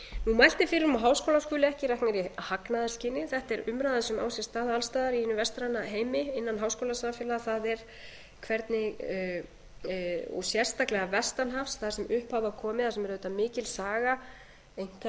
mælt er fyrir um að háskólar skuli ekki reknir í hagnaðarskyni þetta er umræða sem á sér stað alls staðar í hinum vestan heimi innan háskólasamfélaga og sérstaklega vestan hafs þar sem upp hafa komið þar sem er auðvitað mikil